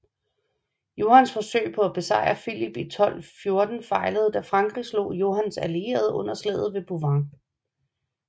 Johans forsøg på at besejre Filip i 1214 fejlede da frankrig slog Johans allierede under slaget ved Bouvines